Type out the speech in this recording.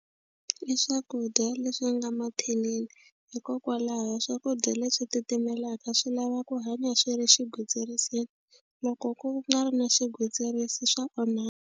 I swakudya leswi nga mathinini hikokwalaho swakudya leswi titimelaka swi lava ku hanya swi ri xigwitsirisini loko ku nga ri na xigwitsirisi swa onha.